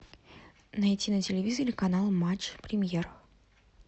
найти на телевизоре канал матч премьер